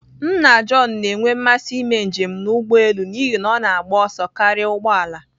Nna John na-enwe mmasị ime njem n'ụgbọelu n'ihi na ọ na-agba ọsọ karịa ụgbọ ala